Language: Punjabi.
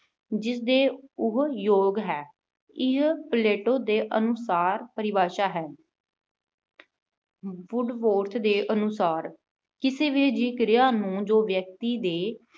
ਜਿਵੇ ਉਹ ਯੋਗ ਹੈ। ਇਹ Plato ਦੇ ਅਨੁਸਾਰ ਪਰਿਭਾਸ਼ਾ ਹੈ। Woodworth ਦੇ ਅਨੁਸਾਰ ਕਿਸ ਵੀ ਅਜਿਹੀ ਕਿਰਿਆ ਨੂੰ ਵਿਅਕਤੀ ਦੇ